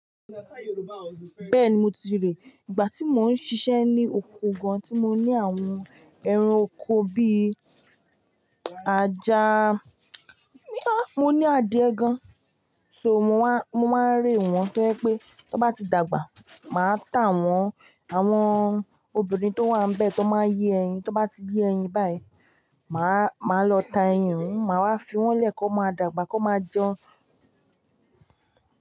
Bẹ́ẹ̀ni mo ti ríi, ìgbà tí mò ń ṣiṣẹ́ ní oko gan tí mo ní àwọn ẹran oko bíi ajá, mo ní adìẹ gan. So mò máa ń re wọn to jé pé tan bá ti dàgbà, màá ta wọn. Àwọn obìnrin tó wà níbẹ̀ tó máa ń yé ẹyin, tó bá ti yé ẹyin báyìí, màá lọ ta ẹyin, maa wá fi wọ́n lẹ́ kan máa dàgbà kan máa jẹun.